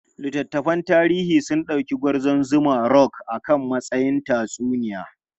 Littattafan tarihi sun dauki Gwarzon Zuma Rock a matsayin tatsuniya.